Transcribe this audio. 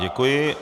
Děkuji.